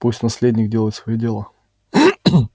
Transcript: пусть наследник делает своё дело